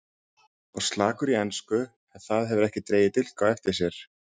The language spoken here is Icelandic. Var slakur í ensku en það hefur ekki dregið dilk á eftir sér.